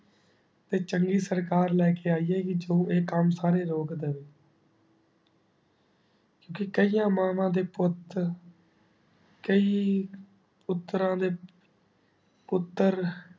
ਤੇ ਚੰਗੀ ਸਰਕਾਰ ਲੇ ਕੇ ਆਈਏ ਜੋ ਏਹ ਕਾਮ ਸਾਰੇ ਰੋਕ ਦੇਵੇ ਦੇ ਨੇ ਠੀਕ ਕੇ ਕ਼ਿਆ ਮਾਵਾ ਦੇ ਪੋਉਤ ਕਈ ਪੁਤਰਾਂ ਦੇ ਪੁਤ